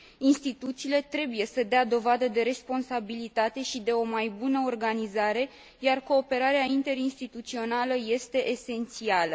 Instituțiile trebuie să dea dovadă de responsabilitate și de o mai bună organizare, iar cooperarea interinstituțională este esențială.